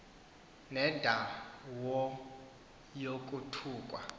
nenda wo yokuthukwa